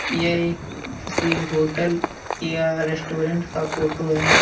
यह एक किसी होटल या रेस्टोरेंट का फोटो है।